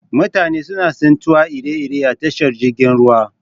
Mutane suna tsintuwa iri iri a tashar jirgin ruwa.